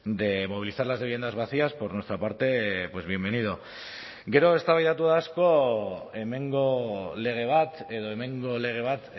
de movilizar las viviendas vacías por nuestra parte pues bienvenido gero eztabaidatu da asko hemengo lege bat edo hemengo lege bat